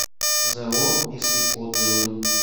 зао висви отзывы